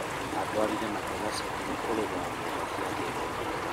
Atwarire magetha thukuru kũrĩha mbeca cia gĩthomo